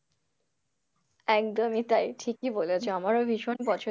একদমই তাই ঠিকই বলেছো আমারও ভীষণ পছন্দের।